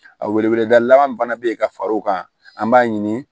A weleweleda laban min fana bɛ yen ka far'o kan an b'a ɲini